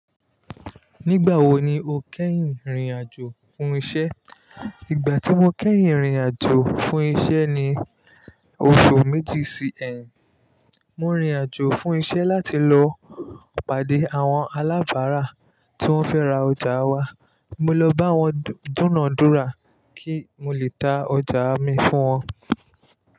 Nígbà wo ni o kẹ́yìn rìnrìn àjò fún isẹ́? Ìgbà tí mo kẹ́yìn rìnrìn àjò fún isẹ́ ni oṣù méjì sì ẹyin. Mo rìnrìn àjò fún iṣẹ́ láti lọ pàdé àwọn alábárà tí wọ́n fẹ́ ra ọjà wa. Mo lọ bá wọn dúnòdúra kí n lè ta ọjà mi fún wọn.